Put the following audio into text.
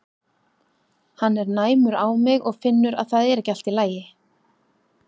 Hann er næmur á mig og finnur að það er ekki allt í lagi.